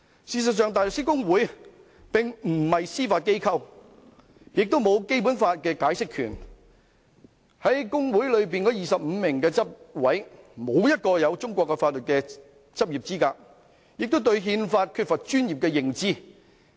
事實上，香港大律師公會並非司法機構，亦沒有對《基本法》的解釋權，而在公會內的25名執委中，無人具備中國法律執業資格，亦對《憲法》缺乏專業認知。